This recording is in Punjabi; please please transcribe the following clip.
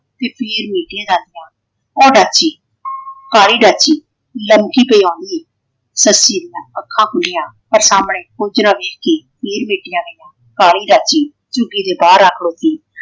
ਤੇ ਫੇਰ ਨਹੀ ਸੀ ਇਹ ਡੱਸਦਾ। ਉਹ ਡਾਚੀ ਕਾਲੀ ਡਾਚੀ ਲੰਬੀ ਤੇ ਹੌਲੀ। ਸੱਸੀ ਦੀਆਂ ਅੱਖਾਂ ਖੁੱਲੀਆਂ ਪਰ ਸਾਹਮਣੇ ਕੁੱਝ ਨਾ ਵੇਖ ਕੇ ਫੇਰ ਮੀਚੀਆਂ ਗਈਆਂ। ਕਾਲੀ ਡਾਚੀ ਝੁਗੀ ਦੇ ਬਾਹਰ ਆ ਖਡੋਤੀ